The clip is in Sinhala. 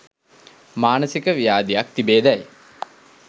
මානසික ව්‍යාධියක් තිබේදැයි